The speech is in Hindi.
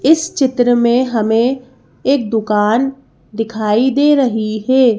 इस चित्र में हमें एक दुकान दिखाई दे रही है।